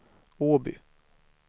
Åby